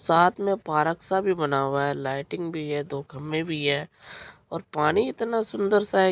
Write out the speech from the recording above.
साथ में पार्क - सा भी बना हुआ है। लाइटिंग भी है दो खंभे भी है और पानी इतना सुंदर-सा है।